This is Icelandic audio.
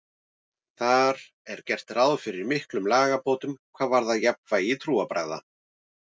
Þar er gert ráð fyrir miklum lagabótum hvað varðar jafnræði trúarbragða.